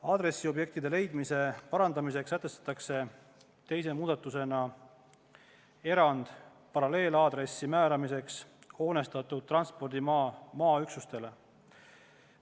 Aadressiobjektide leidmise parandamiseks sätestatakse teise muudatusena erand paralleelaadressi määramiseks hoonestatud transpordimaa maaüksustele.